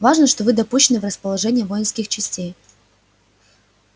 важно что вы допущены в расположение воинских частей